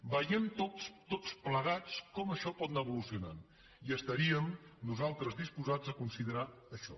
vegem tots plegats com això pot anar evolucionant i estaríem nosaltres disposats a considerar això